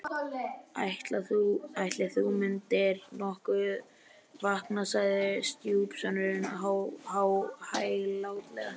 Ætli þú myndir nokkuð vakna sagði stjúpsonurinn hæglátlega.